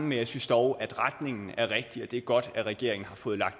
men jeg synes dog at retningen er rigtig og det er godt at regeringen har fået